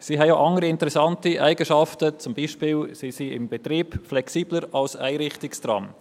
Sie haben auch andere interessante Eigenschaften, beispielsweise sind sie im Betrieb flexibler als Einrichtungstrams.